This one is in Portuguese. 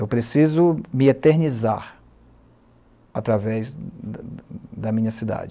Eu preciso me eternizar através da da minha cidade.